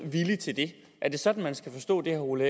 villig til det er det sådan man skal forstå det herre ole